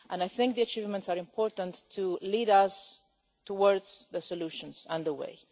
I think that humans are important to lead us towards the solutions and the way.